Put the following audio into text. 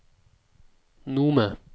Nome